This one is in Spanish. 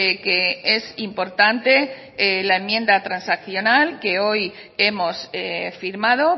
que es importante al enmienda transaccional que hoy hemos firmado